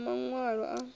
u ḓa na maṅwalo a